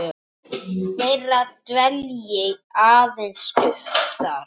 þeirra dvelji aðeins stutt þar.